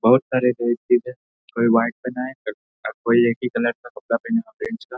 बहोत सारे हैं कोई व्हाइट पहना है कोई एक ही कलर का कपड़ा पहने हुआ फ्रेंच का --